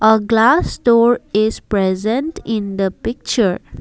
a glass store is present in the picture.